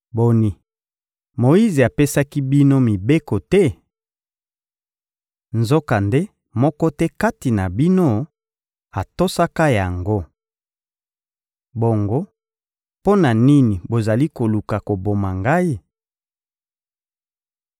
Boni, Moyize apesaki bino mibeko te? Nzokande moko te kati na bino atosaka yango! Bongo mpo na nini bozali koluka koboma Ngai?